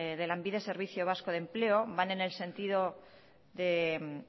de lanbide servicio vasco de empleo van en el sentido de